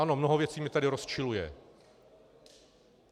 Ano, mnoho věcí mě tady rozčiluje.